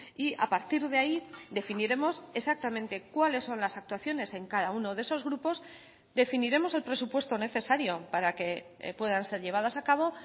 y a partir de ahí definiremos exactamente cuáles son las actuaciones en cada uno de esos grupos definiremos el presupuesto necesario para que puedan ser llevadas a cabo